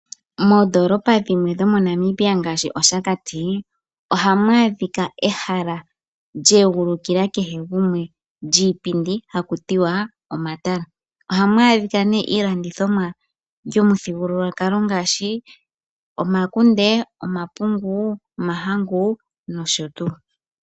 Moondolopa dhimwe dhomoNamibia ngaashi mOshakati ohamu adhika ehala lyeegulukila kehe gumwe, lyiipindi hakutiwa omatala. Ohamu adhika iilandithomwa yomuthigukulwakalo